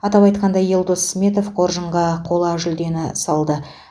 атап айтқанда елдос сметов қоржынға қола жүлдені салды